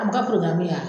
An bɛ ka ya